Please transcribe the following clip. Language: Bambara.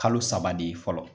Kalo saba de ye fɔlɔ